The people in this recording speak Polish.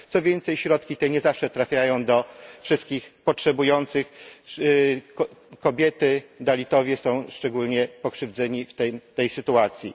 Co więcej, środki te nie zawsze trafiają do wszystkich potrzebujących kobiety, dalitowie są szczególnie pokrzywdzeni w tej sytuacji.